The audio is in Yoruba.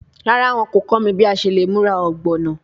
Rara, wọn ko kọ mi bi a ṣe le mura ogbono